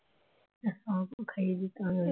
হ্যাঁ আমাকেও খাই দিত